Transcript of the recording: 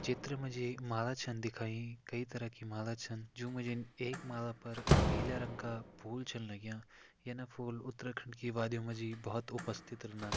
चित्र मजी माला छन दिखाईं कई तरह की माला छन जो म जन एक माला पर पीले रंग का फूल छन लग्यां यन फूल उत्तराखंड की वादियों मजी बहुत उपास्थि रोदन।